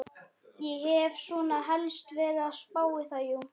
Ég hef svona helst verið að spá í það, jú.